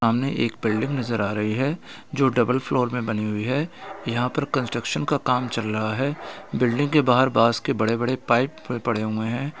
सामने एक बिल्डिंग नजर आ रही है जो डबल फ्लोर मे बनी हुई है यहाँ पर कंस्ट्रक्शन का काम चल रहा है बिल्डिंग के बाहर बास के बड़े बड़े पाइप पड़े हुए हैं।